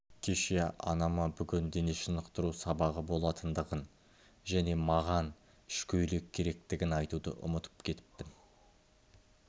кеше анама бүгін дене шынықтыру сабағы болатындығын және маған ішкөйлек керектігін айтуды ұмытып кетіппін